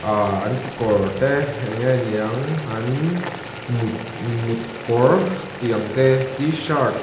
aa an kekawr te eng nge niang an mut mut kawr tih ang te t-shirt --